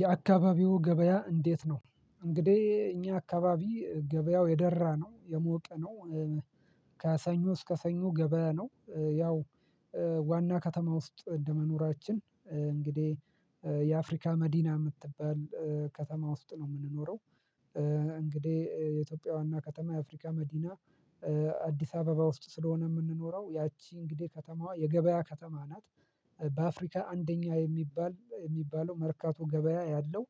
የአካባቢው ገበያ እንዴት ነው? እንግዲሂ እኛ አካባቢ ገበያው የደራ ነው፥ የሞቀ ነው ከሰኞ እስከ ሰኞ ገበያ ነው። ያው ዋና ከተማ ውስጥ እንደመኖራችን እንግዲህ የአፍሪካ መዲና የምትባል ከተማ ውስጥ ነው የምንኖረው እንግዲህ የኢትዮጵያ ዋና ከተማ የአፍሪካ መዲና አዲስ አበባ ውስጥ ስለሆነ የምንኖረው ያቺ እንግዲህ ከተማዋ የገበያ ከተማ ናት በአፍሪካ አንደኛ የሚባል የሚባለው መርካቶ ገበያ ያለው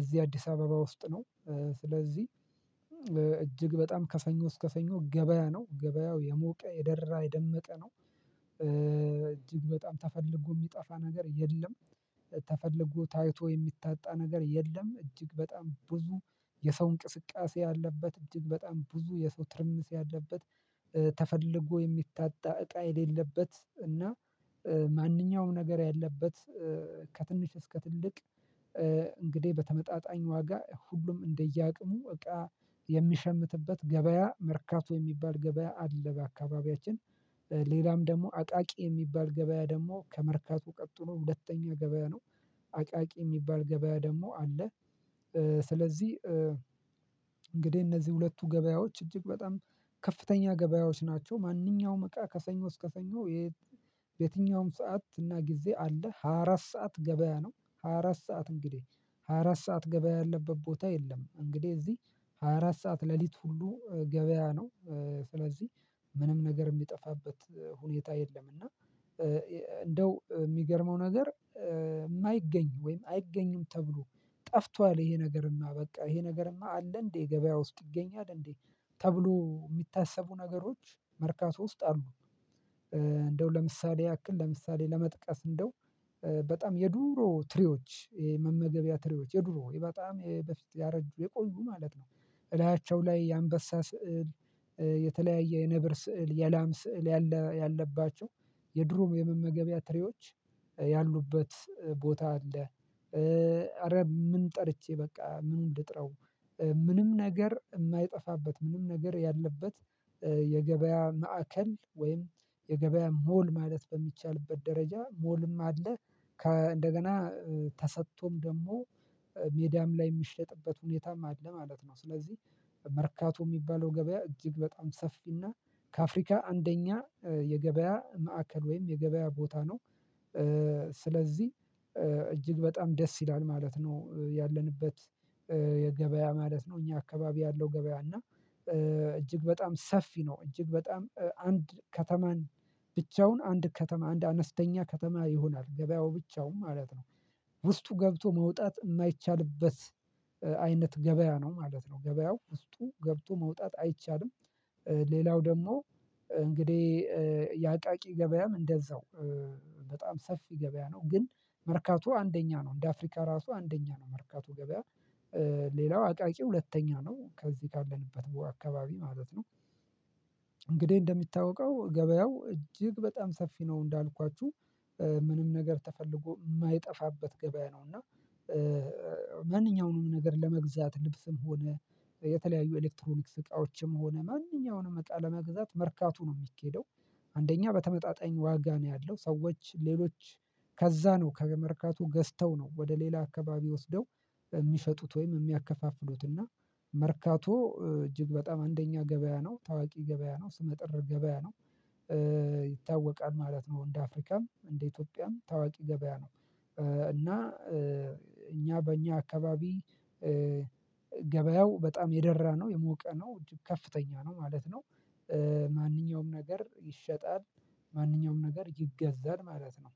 እዚህ አዲስ አበባ ውስጥ ነው። ስለዚህ እጅግ በጣም ከሰኞ እስከ ሰኞ ገበያ ነው። ገበያው የሞቀ፥ የደራ፥ የደመቀ ነው። እጅግ በጣም ተፈልጎ የሚጠፋ ነገር የለም። ተፈልጎ ታይቶ የሚታጣ ነገር የለም። እጅግ በጣም ብዙ የሰው እንቅስቃሴ ያለበት እጅግ በጣም ብዙ የሰው ትርምስ ያለበት ተፈልጎ የሚታጣ እቃ የሌለበት እና ማንኛውም ነገር ያለበት ከትንሽ እስከ ትልቅ እንግዲህ በተመጣጣኝ ዋጋ ሁሉም እንደየአቅሙ እቃ የሚሸምትበት ገበያ መርካቶ የሚባል ገበያ አለ በአካባቢያችን ሌላም ደግሞ አቃቂ የሚባል ገበያ ደግሞ ከመርካቶ ቀጥሎ ሁለተኛ ገበያ ነው። አቃቂ የሚባል ገበያ ደግሞ አለ። ስለዚህ እንግዲህ እነዚህ ሁለቱ ገበያዎች እጅግ በጣም ከፍተኛ ገበያዎች ናቸው። ማንኛውም በቃ ከሰኞ እስከ ሰኞ በየትኛውም ሰዓት እና ጊዜ አለ። ሃያ አራት ሰዓት ገበያ ነው። ሃያ አራት ሰዓት እንግዲህ ሃያ አራት ሰዓት ገበያ ያለበት ቦታ የለም። እንግዲህ እዚህ ሃያ አራት ሰዓት ሌሊት ሁሉ ገበያ ነው። ስለዚህ ምንም ነገር የሚጠፋበት ሁኔታ የለም እና እንደው የሚገርመው ነገር የማይገኝ ወይም አይገኝም ተብሎ ጠፍቷል ይሄ ነገርማ በቃ ይሄ ነገርማ አለ እንዴ ገበያ ውስጥ ይገኛል እንዴ ተብሎ የሚታሰቡ ነገሮች መርካቶ ውስጥ አሉ። እንደው ለምሳሌ ያክል ለምሳሌ ለመጥቀስ እንደው በጣም የድሮ ትሪዎች የመመገቢያ ትሪዎች የድሮ በጣም በፊት ያረጁ፥ የቆዩ ማለት ነው እላያቸው ላይ የአንበሳ ስዕል የተለያየ የነብር ስዕል፥ የላም ስዕል ያለ ያለባቸው የድሮ የመመገቢያ ትሬዎች ያሉበት ቦታ አለ። አረ ምን ጠርቼ በቃ ምኑን ልጥራው። ምንም ነገር የማይጠፋበት ምንም ነገር ያለበት የገበያ ማዕከል ወይም የገበያ ሞል ማለት በሚቻልበት ደረጃ ሞልም አለ። ከ እንደገና ተሰጥቶም ደግሞ ሜዳም ላይ የሚሸጥበት ሁኔታም አለ ማለት ነው። ስለዚህ መርካቶ የሚባለው ገበያ እጅግ በጣም ሰፊና ከአፍሪካ አንደኛ የገበያ ማዕከል ወይም የገበያ ቦታ ነው። ስለዚህ እጅግ በጣም ደስ ይላል ማለት ነው ያለንበት የገበያ ማለት ነው እኛ አካባቢ ያለው ገበያ እና እጅግ በጣም ሰፊ ነው፤ እጅግ በጣም አንድ ከተማን ብቻውን አንድ ከተማ አንድ አነስተኛ ከተማ ይሆናል ገበያው ብቻውን ማለት ነው ውስጡ ገብቶ መውጣት የማይቻልበት አይነት ገበያ ነው ማለት ነው። ገበያው ውስጡ ገብቶ መውጣት አይቻልም ሌላው ደግሞ እንግዲህ የአቃቂ ገበያም እንደዛው በጣም ሰፊ ገበያ ነው። ግን መርካቶ አንደኛ ነው እንደ አፍሪካ ራሱ አንደኛ ነው መርካቶ ገበያ ሌላው አቃቂ ሁለተኛ ነው። ከዚህ ካለንበት አካባቢ ማለት ነው። እንግዲህ እንደሚታወቀው ገበያው እጅግ በጣም ሰፊ ነው። እንዳልኳችሁ ምንም ነገር ተፈልጎ የማይጠፋበት ገበያ ነው እና ማንኛውንም ነገር ለመግዛት ልብስም ሆነ የተለያዩ ኤሌክትሮኒክስ እቃዎችም ሆነ ማንኛውንም እቃ ለመግዛት መርካቶ ነው የሚኬደው። አንደኛ በተመጣጣኝ ዋጋ ነው ያለው። ሰዎች ሌሎች ከዛ ነው ከመርካቶ ገዝተው ነው ወደ ሌላ አካባቢ ወስደው የሚሸጡት ወይም የሚያከፋፍሉት እና መርካቶ እጅግ በጣም አንደኛ ገበያ ነው፤ ታዋቂ ገበያ ነው፤ ስመጥር ገበያ ነው። ይታወቃል ማለት ነው እንደ አፍሪካም እንደ ኢትዮጵያም ታዋቂ ገበያ ነው። እና እኛ በእኛ አካባቢ ገበያው በጣም የደራ ነው፤ የሞቀ ነው፤ ከፍተኛ ነው ማለት ነው። ማንኛውም ነገር ይሸጣል ማንኛውም ነገር ይገዛል ማለት ነው።